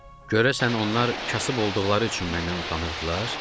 Görəsən onlar kasıb olduqları üçün məndən utanırdılar?